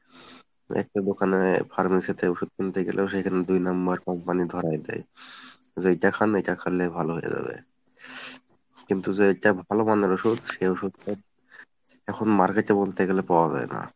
একটা দোকানে pharmacy তে ওষুধ কিনতে গেলেও সেখানে দুই number company ধরাই দেয়, যে এইটা খান এইটা খেলেই ভালো হয়ে যাবে, কিন্তু যেইটা ভালোমানের ওষুধ সে ওষুধটা এখন market এ বলতে গেলে পাওয়া যায় না।